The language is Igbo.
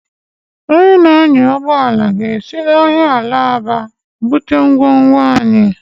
Onye na-anya ụgbọ ala ga-esi n'ahịa Alaba bute ngwongwo anyị.